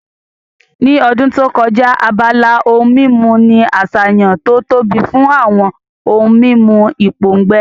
Ní ọdún tó kọjá, abala ohun mímu ní àṣàyàn tó tóbi fún àwọn ohun mímu ìpòǹgbẹ